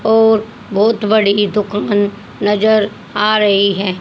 और बहोत बड़ी दुकान नजर आ रही है।